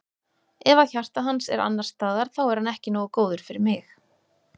Ef að hjarta hans er annars staðar þá er hann ekki nógu góður fyrir mig.